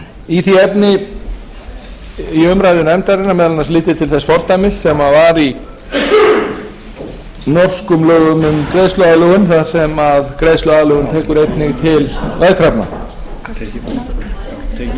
efni í umræðu nefndarinnar leiddi meðal annars til þess fordæmis sem var í norskum lögum um greiðsluaðlögun þar sem greiðsluaðlögun tekur einnig til veðkrafna eftir umræður í nefndinni beindi ég